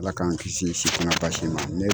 ALA k'an kisi basi ma.